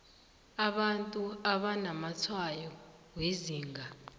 abantu abanamatshwayo wezinga